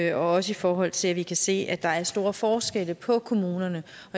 er også i forhold til at vi kan se at der er stor forskel på kommunerne